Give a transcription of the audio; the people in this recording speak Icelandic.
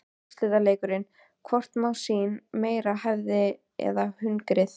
Úrslitaleikur: Hvort má sín meira hefðin eða hungrið?